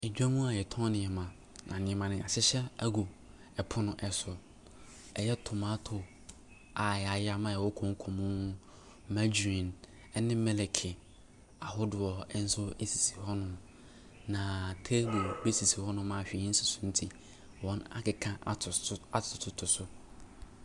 Edwam a yɛtɔn nneema, na nneema no, yɛahyehyɛ ɛgu ɛpono so. Ɛyɛ tomato a yɛayam a ɛwɔ konko mu, margarine ɛne milk ahodoɔ ɛnso sisi hɔ nom. Na table bi esisi hɔ nom a whee nsi so nti wɔakeka ato so atoto so.